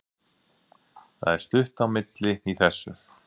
Það er stutt á milli í þessu!